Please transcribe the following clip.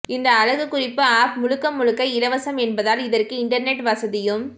இந்த அழகுக்குறிப்பு ஆப் முழுக்க முழுக்க இலவசம் என்பதால் இதற்கு இன்டர்நெட் வசதியும்